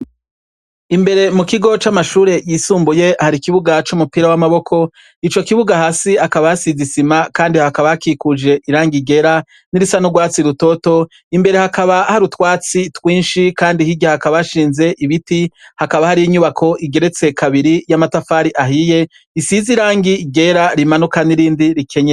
Imbere mukigo camashure yisumbuye hari ikibuga cumupira wamaboko, ico kibuga hasi hakaba hasize isima kandi hakaba hakikuje irangi ryera nirisa nurwatsi rutoto imbere hakaba harutwatsi twinshi kandi hirya hakaba hashinze ibiti hakaba hari inyubako igeretse kabiri yamatafari ahiye isize irangi ryera rimanuka nirindi rikenyeye.